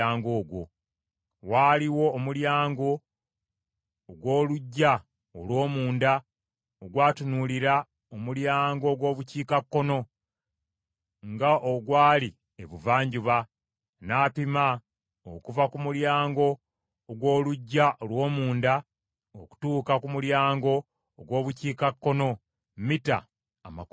Waaliwo omulyango ogw’oluggya olw’omunda ogwatunuulira omulyango ogw’Obukiikakkono, nga ogwali Ebuvanjuba. N’apima okuva ku mulyango ogw’oluggya olw’omunda okutuuka ku mulyango ogw’Obukiikakkono mita amakumi ataano.